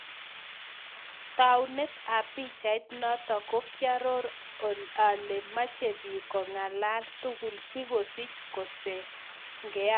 Taunet ap pichait notok ko kiaroo alee mechee piik kengalala tugul sikosich kosegea